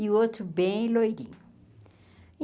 E o outro bem loirinho.